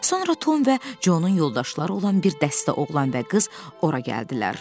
Sonra Tom və Conun yoldaşları olan bir dəstə oğlan və qız ora gəldilər.